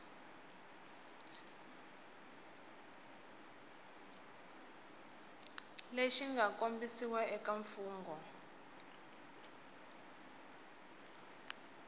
lexi mga kombisiwa eka mfungho